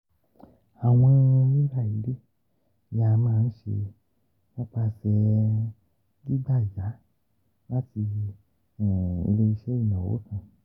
Awọn rira ile ni a maa n ṣe nipasẹ gbigba yá lati ile-iṣẹ inawo kan.